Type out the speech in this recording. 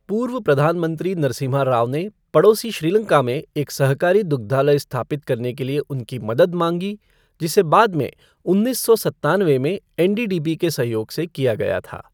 पूर्व प्रधान मंत्री नरसिम्हा राव ने पड़ोसी श्रीलंका में एक सहकारी दुग्धालय स्थापित करने के लिए उनकी मदद मांगी, जिसे बाद में उन्नीस सौ सत्तानवे में एनडीडीबी के सहयोग से किया गया था।